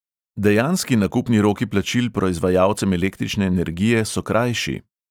Dejanski nakupni roki plačil proizvajalcem električne energije so krajši.